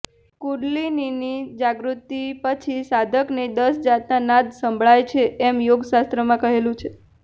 કુડલિનીની જાગૃતિ પછી સાધકને દસ જાતના નાદ સંભળાય છે એમ યોગશાસ્ત્રમાં કહેલું છે